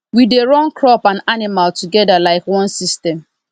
we dey run crop and animal together like one system